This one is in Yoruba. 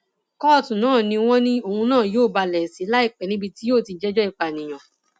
kóòtù náà ni wọn ní òun náà yóò balẹ sí láìpẹ níbi tí yóò ti jẹjọ ìpànìyàn